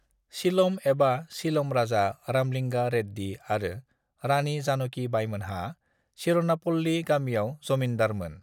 सीलम एबा शीलम राजा रामलिंगा रेड्डी आरो रानी जानकी बाईमोनहा सिरनापल्ली गामियाव जमिन्दारमोन।